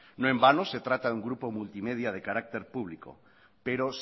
no en vano se trata de un grupo multimedia de carácter público pero